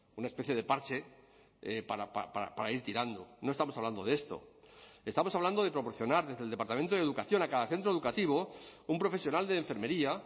una especie de parche para ir tirando no estamos hablando de esto estamos hablando de proporcionar desde el departamento de educación a cada centro educativo un profesional de enfermería